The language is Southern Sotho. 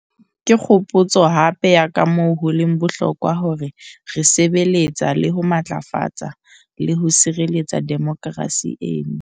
Ke kgopotso hape ya kamoo ho leng bohlokwa hore re sebe letsa le ho matlafatsa le ho sireletsa demokerasi eno.